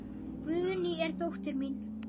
Guðný er dóttir mín.